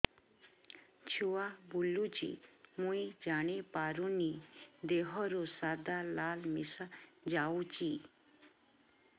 ଛୁଆ ବୁଲୁଚି ମୁଇ ଜାଣିପାରୁନି ଦେହରୁ ସାଧା ଲାଳ ମିଶା ଯାଉଚି